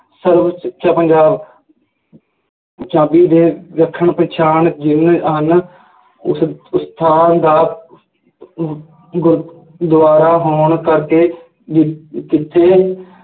ਸਰਵ ਸਿੱਖਿਆ ਪੰਜਾਬ ਪੰਜਾਬੀ ਦੇ ਵਿਲੱਖਣ ਪਛਾਣ ਜਿਵੇਂ ਹਨ ਉਸ ਸਥਾਨ ਦਾ ਅਹ ਗੁਰਦੁਆਰਾ ਹੋਣ ਕਰਕੇ ਜਿ~ ਜਿੱਥੇ